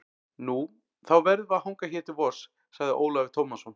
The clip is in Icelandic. Nú, þá verðum við að hanga hér til vors, sagði Ólafur Tómasson.